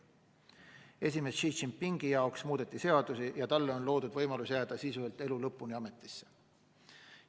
Esimees Xi Jinpingi jaoks muudeti seadusi ja talle on loodud võimalus jääda sisuliselt elu lõpuni ametisse.